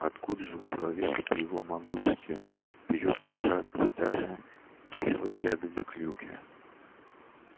откуда же у человека при его могуществе берётся жадность даже к кислой ягоде клюкве